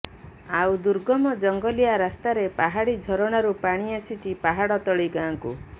ଆଉ ଦୁର୍ଗମ ଜଙ୍ଗଲିଆ ରାସ୍ତାରେ ପାହାଡ଼ି ଝରଣାରୁ ପାଣି ଆସିଛି ପାହାଡ଼ ତଳିଗାଁକୁ